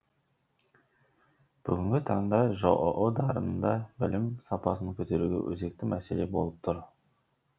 бүгінгі таңда жоо дарында білім сапасын көтеру өзекті мәселе болып тұр